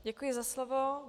Děkuji za slovo.